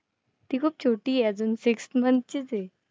ती खूप छोटी आहे अजून. six month चीच आहे.